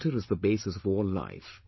Water is the basis of all life